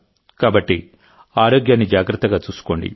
కాబట్టిఆరోగ్యాన్ని జాగ్రత్తగా చూసుకోండి